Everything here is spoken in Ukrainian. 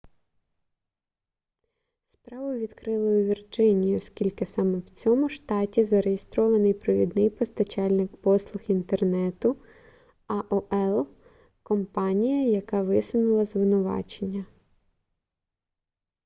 справу відкрили у вірджинії оскільки саме в цьому штаті зареєстрований провідний постачальник послуг інтернету аол компанія яка висунула звинувачення